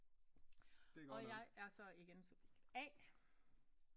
Og jeg er så igen subjekt A